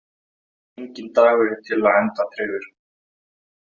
Enginn dagur er til enda tryggður.